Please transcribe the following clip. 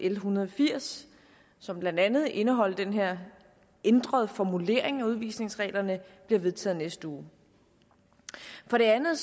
en hundrede og firs som blandt andet indeholder den her ændrede formulering af udvisningsreglerne bliver vedtaget i næste uge for det andet